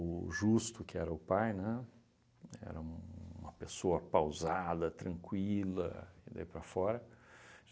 Justo, que era o pai, né, era uma pessoa pausada, tranquila, e daí para fora.